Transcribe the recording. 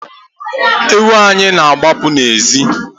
Ewu anyị na-agbapụ n'ezi